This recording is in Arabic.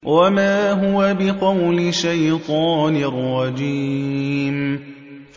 وَمَا هُوَ بِقَوْلِ شَيْطَانٍ رَّجِيمٍ